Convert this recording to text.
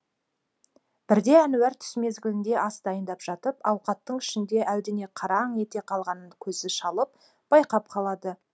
бірде әнуар түс мезгілінде ас дайындап жатып ауқаттың ішінде әлдене қараң ете қалғанын көзі шалып байқап қалады